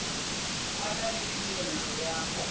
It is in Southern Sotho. a na le phehello ya